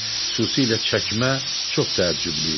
Xüsusilə çəkmə çox təəccüblü idi.